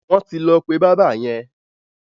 Wọ́n ti lọ pé bábà yẹn.